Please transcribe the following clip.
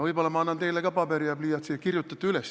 Võib-olla ma annan teile ka paberi ja pliiatsi, kirjutate üles.